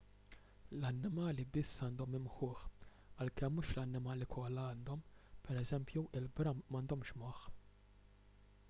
l-annimali biss għandhom imħuħ għalkemm mhux l-annimali kollha għandhom; pereżempju il-bram m’għandhomx moħħ